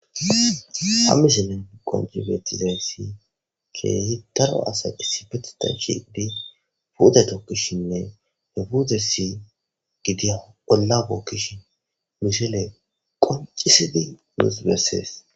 ha misilen qonci beettizay ssi keeyi daro asa issipetitan shiqidi puute tokkishshinne he futassi gidiya bolla bookkishi mishile qoncisidi nus bessees